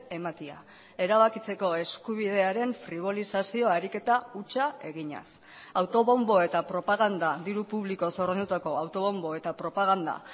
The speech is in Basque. ematea erabakitzeko eskubidearen fribolizazio ariketa hutsa eginez autobonbo eta propaganda diru publikoz ordaindutako autobonbo eta propaganda